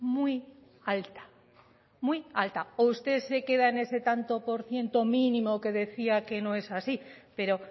muy alta muy alta o usted se queda en ese tanto por ciento mínimo que decía que no es así pero